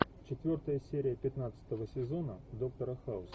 четвертая серия пятнадцатого сезона доктора хаус